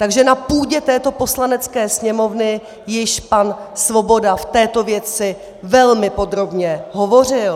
Takže na půdě této Poslanecké sněmovny již pan Svoboda v této věci velmi podrobně hovořil.